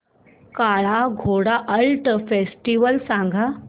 काला Ghoda art festival सांग